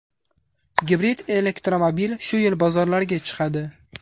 Gibrid elektromobil shu yil bozorlarga chiqadi.